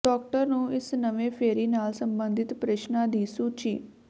doctor ਨੂੰ ਇਸ ਨਵੇਂ ਫੇਰੀ ਨਾਲ ਸੰਬੰਧਿਤ ਪ੍ਰਸ਼ਨਾਂ ਦੀ ਸੂਚੀ